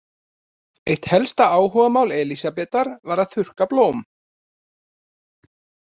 Eitt helsta áhugamál Elsabetar var að þurrka blóm.